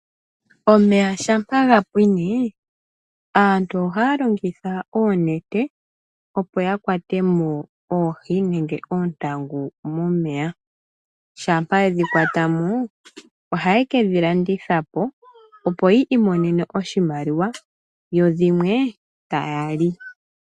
Omeya shampa gapwine aantu ohaa longitha oonete opo yakwatemo oohi nenge oontangu momeya. Shampa yedhi kwatamo ohaye kedhi landithapo opo yiimonene oshimaliwa, yodhimwe taya li.